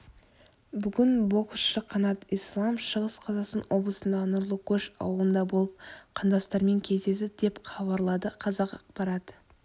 бүгін боксшы қанат ислам шығыс қазақстан облысындағы нұрлы көш ауылында болып қандастармен кездесті деп хабарлады қазақпарат